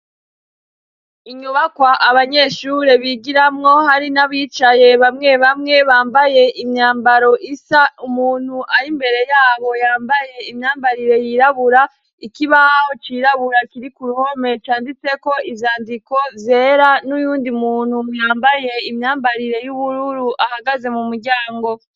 Inyubakwa abanyeshuri bigiramwo hari n'abicaye bamwe bamw bambaye imyambaro isa umuntu ari imbere yabo yambaye imyambarire yirabura ikibaho cirabura kiri ku ruhome canditseko ivyandiko zera n'uyundi muntu mwambaye imyambarire y'ubuwe uru ahagaze mu muryango.